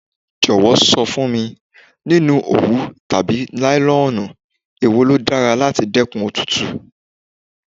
Jọ̀wọ́ sọ fún mi, nínú òwú tàbí nílọ́nù, è wo ló dára láti dẹ́kun òtútù.